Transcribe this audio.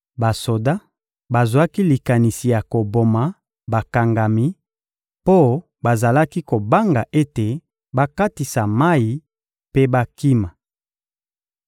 Basoda bazwaki likanisi ya koboma bakangami mpo bazalaki kobanga ete bakatisa mayi mpe bakima.